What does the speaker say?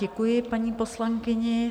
Děkuji paní poslankyni.